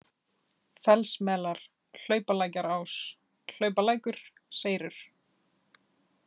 Fellsmelar, Hlaupalækjarás, Hlaupalækur, Seyrur